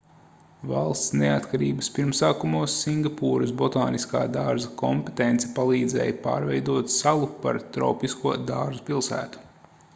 valsts neatkarības pirmsākumos singapūras botāniskā dārza kompetence palīdzēja pārveidot salu par tropisko dārzu pilsētu